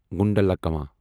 گنڈلاکما